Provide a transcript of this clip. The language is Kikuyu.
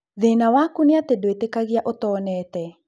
Thĩna waku nĩ atĩ ndũĩtĩkagia ũtoonete.